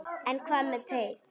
En hvað með teið?